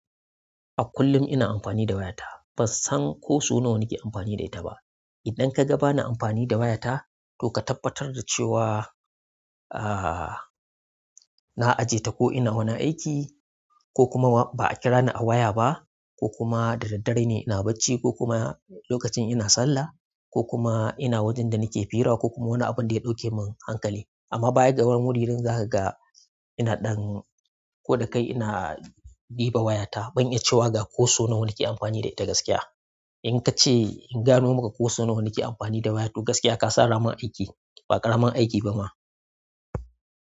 A kullum ina amfani da wayata. Ban san ko so nawa ni ke amfani da ita ba. Idan ka ga bana amfani da wayata, to ka tabbatar da cewa, ahhh, na aje ta ko ina wani aiki, ko kuma ba a kira ni a waya ba, ko kuma da daddare ne ina bacci, ko kuma lokacin ina sallah, ko kuma ina wajen da nake hira, ko kuma wani abin da ya ɗauke mun hankali. Amma bayan ga wurin wurin zaka ga ina ɗan, ko da kai ina ɗiba wayata, ban iya cewa ga ko so nawa ni ke amfani da ita gaskiya. In ka ce in gano maka ko so nawa ni ke amfani da waya to gaskiya, ka sa ramin aiki. Ba ƙaramin aiki ba ma.